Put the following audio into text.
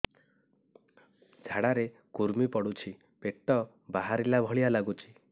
ଝାଡା ରେ କୁର୍ମି ପଡୁଛି ପେଟ ବାହାରିଲା ଭଳିଆ ଲାଗୁଚି